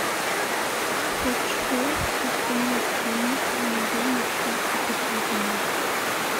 хочу закинуть денег на мобильный счет екатерины